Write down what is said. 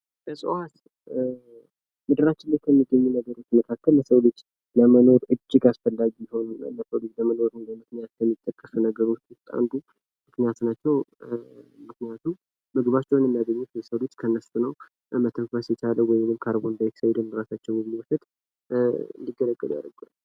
እጽዋት ለሰው ልጆች መሬት ላይ ከምናገኛቸው እጅግ አስፈላጊ ነገሮች መካከል አንዱ ነው። ምክንያቱም የሰው ልጅ ምግቡን የሚያገኘው ከእነርሱ ነው።